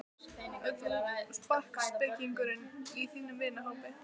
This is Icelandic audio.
Ert þú sparkspekingurinn í þínum vinahópi?